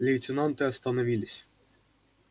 лейтенанты остановились